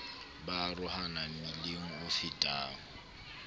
ba arohana mmileng o fetang